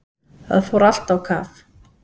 Það fór allt á kaf.